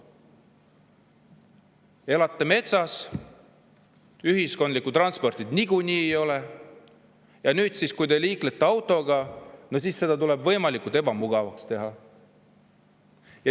Elate metsas, ühiskondlikku transporti niikuinii ei ole, ja kui te liiklete autoga, siis see tuleb teile võimalikult ebamugavaks teha.